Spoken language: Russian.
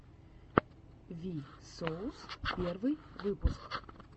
ви соус первый выпуск